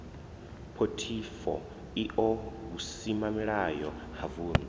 phothifo io vhusimamilayo ha vundu